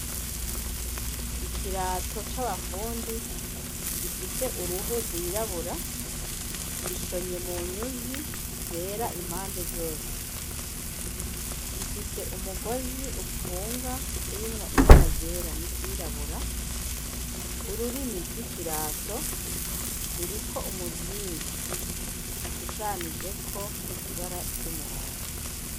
Ikirato c'abafundi gifise uruhu rwirabura gishonye mu nyuzi zera impande zose rifise umugozi upfunga urimwo ibaragera n'iryirabura ururimi rw'ikirato ruri ko umuzingi ushushanijeko ibara ry'umuhondo.